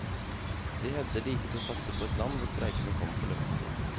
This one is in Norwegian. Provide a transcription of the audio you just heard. De hevder de ikke tør å satse på et land hvor streikene kommer på løpende bånd.